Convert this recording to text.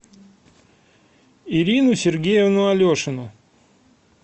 ирину сергеевну алешину